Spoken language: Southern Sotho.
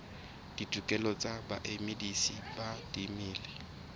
ditokelo tsa bamedisi ba dimela